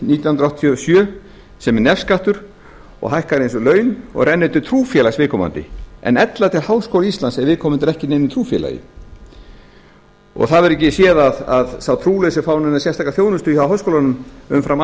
nítján hundruð áttatíu og sjö sem er nefskattur og hækkar eins og laun og rennur til trúfélags viðkomandi en ella til háskóla íslands ef viðkomandi er ekki í neinu trúfélagi það verður ekki séð að sá trúlausi fái neina sérstaka þjónustu hjá háskólanum umfram